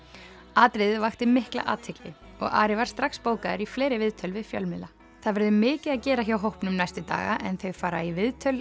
atriðið vakti mikla athygli og Ari var strax bókaður í fleiri viðtöl við fjölmiðla það verður mikið að gera hjá hópnum næstu daga en þau fara í viðtöl